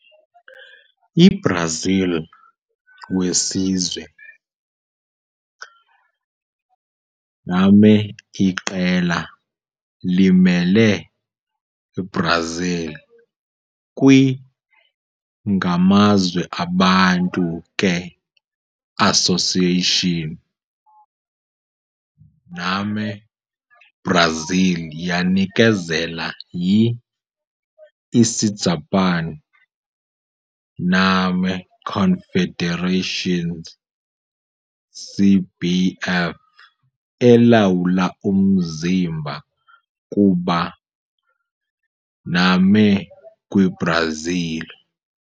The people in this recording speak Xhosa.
IBrazil wesizwe name iqela limele Brazil kwi-ngamazwe abantu ke association name. Brazil yanikezela yi-Isijapani Name Confederation, CBF, elawula umzimba kuba name kwi-Brazil.